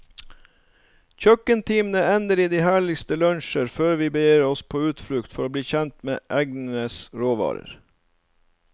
Kjøkkentimene ender i de herligste lunsjer før vi begir oss på utflukt for å bli kjent med egnens råvarer.